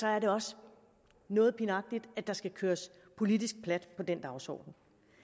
er det også noget pinagtigt at der skal køres politisk plat på den dagsorden